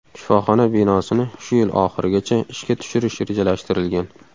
Shifoxona binosini shu yil oxirigacha ishga tushirish rejalashtirilgan.